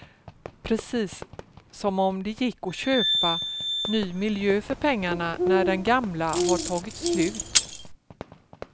Precis som om det gick att köpa ny miljö för pengarna när den gamla har tagit slut.